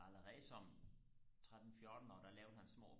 allerede som tretten fjortenårig der lavede han små